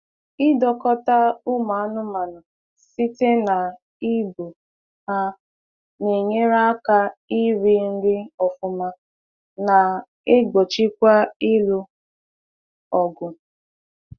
Idọkota ụmụ anụmanụ site na ibu ha na enyere aka iri nri ọfụma na egbochikwa ịlụ ọgụ.